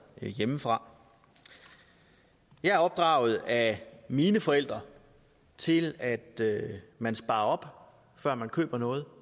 hjemmefra jeg er opdraget af mine forældre til at man sparer op før man køber noget